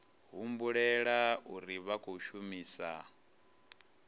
humbulela uri vha khou shumisa